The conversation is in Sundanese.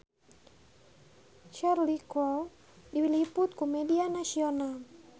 Cheryl Crow diliput ku media nasional